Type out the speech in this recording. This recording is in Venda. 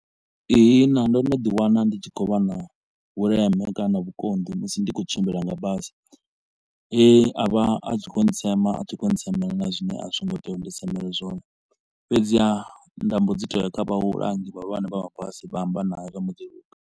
Ihina ndo no ḓi wana ndi tshi khou vha na vhuleme kana vhukonḓi musi ndi kho u tshimbila nga basi, e a vha a tshi kho u ntsema a tshi kho u ntsemela na zwine a zwi ngo tea uri ndi semelwe zwone. Fhedziha nda mbo dzi to u ya kha vhahulwane vhahulwane vha mabasi vha amba nae zwa mbo ḓi luga.